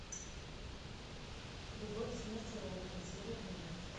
любовь смерть и роботы серия двенадцать